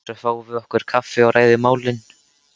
Svo fáum við okkur kaffi og ræðum málin.